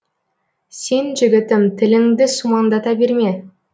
сен жігітім тіліңді сумаңдата берме